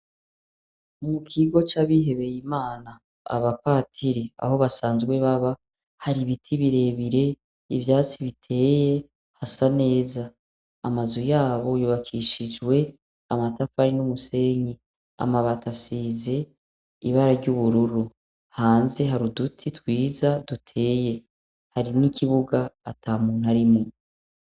Mukigo c'abihebeye Imana Abapatiri Aho basanzwe baba hari ibiti birebire, ivyatsi biteye hasa neza, amazu yabo yubakishijwe amatafari n'umusenyi, amatafari asize ibara ry'ubururu. hanze hari uduti twiza duteye ,hari n'ikibuga atamuntu arimwo.